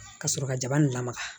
Ka sɔrɔ ka jaba nin lamaga